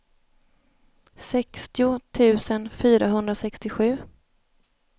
sextio tusen fyrahundrasextiosju